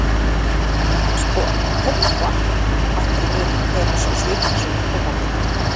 Sko, ÓVART, bætti hann við þegar hann sá svipinn sem kom á Gunna.